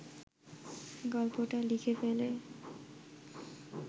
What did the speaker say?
গল্পটা লিখে ফেলে